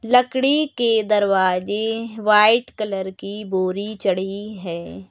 लकड़ी के दरवाजे व्हाइट कलर की बोरी चढ़ी हुई है।